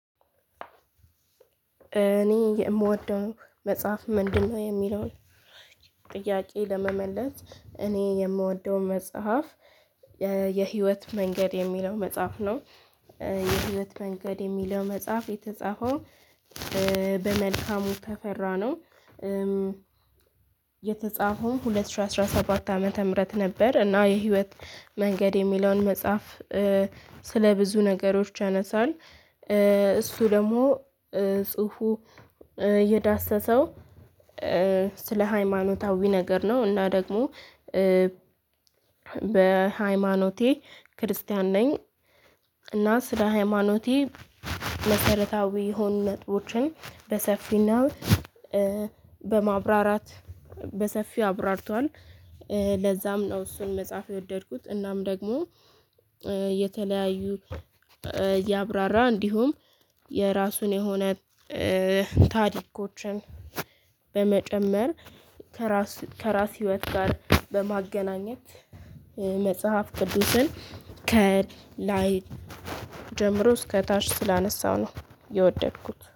እኔ የምወደው መጽሐፍ ምንድነው የሚለውን ጥያቄ ለመመለስ እኔ የምወደው መጽሐፍ የህይወት መንገድ የሚለው መጽሐፍ ነው። የህይወት መንገድ የሚለው መጽሐፍ የተጻፈው በመልካሙ ተፈራ ነው። የተጻፈው ሁለት ሺህ አስራ ሰባት ዓመተ ምህረት ነበር። እና የህይወት መንገድ የሚለውን መጽሐፍ ስለ ብዙ ነገሮች ያነሳል። እሱ ደግሞ ጽሁፉ የዳሰሰው ስለ ሃይማኖታዊ ነገር ነው። እና ደግሞ በሃይማኖቴ ክርስቲያን ነኝ። እና ስለ ሃይማኖቴ መሰረታዊ የሆኑ ነጥቦችን በሰፊና በማብራራት በሰፊው አብራርቷል። ለዛም ነው እሱን መጽሐፍ የወደድኩት። እናም ደግሞ የተለያዩ እያብራራ እንዲሁም የራሱን የሆነ ታዲያዎችን በመጨመር ከራስ ከራስ ህይወት ጋር በማገናኘት መጽሐፍ ቅዱስን ከላይ እስከታሽ ስላነሳሁ ነው የወደድኩት